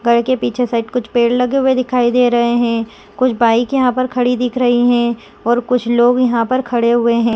घर के पीछे साइड कुछ पेड़ लगे हुए दिखाई दे रहे है कुछ बाइक यहाँ पर खड़ी दिख रही है और कुछ लोग यहाँ पर खड़े हुए है।